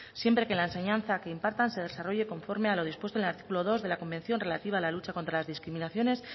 siempre que la enseñanza que impartan se desarrolle conforme a los dispuesto en el artículo dos de la convención relativa a la lucha contra las discriminaciones